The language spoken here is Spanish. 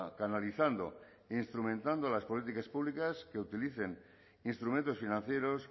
canalizando e instrumentado las políticas públicas que utilicen instrumentos financieros